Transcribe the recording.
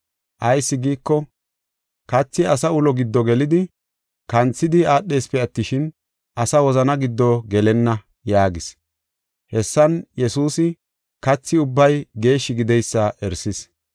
Ayis giiko, kathi asa ulo giddo gelidi kanthidi aadhesipe attishin, asa wozana giddo gelenna” yaagis. Hessan Yesuusi kathi ubbay geeshshi gideysa erisis.